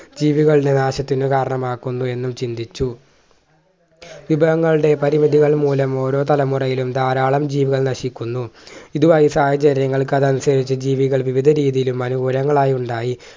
ജീവികൾ നിരാശത്തിന് കാരണമാക്കുന്നു എന്ന് ചിന്തിച്ചു വിഭവങ്ങളുടെ പരിമിതികൾ മൂലം ഓരോ തലമുറയിലും ധാരാളം ജീവൻ നശിക്കുന്നു ഇത് വായിച്ച ആ ജനങ്ങൾക്ക് അതനുസരിച്ച് ജീവികൾ വിവിധ രീതിയിലും അനുകൂലങ്ങളായി ഉണ്ടായി